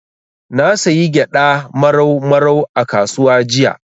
Na sayi gyaɗa Marau Marau a kasuwa jiya.